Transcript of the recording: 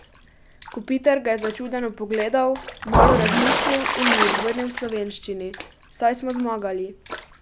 Kopitar ga je začudeno pogledal, malo razmislil in mu odvrnil v slovenščini: "Saj smo zmagali.